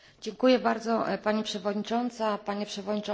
Pani przewodnicząca, panie przewodniczący Komisji!